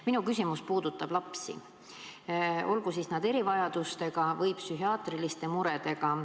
Minu küsimus puudutab lapsi, olgu nad erivajadustega või psühhiaatriliste muredega.